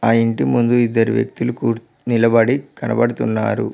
ఆ ఇంటి ముందు ఇద్దరు వ్యక్తులు కుర్ నిలబడి కనబడుతున్నారు.